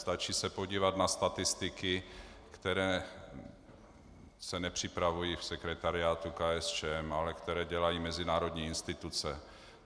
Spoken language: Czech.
Stačí se podívat na statistiky, které se nepřipravují v sekretariátu KSČM, ale které dělají mezinárodní instituce.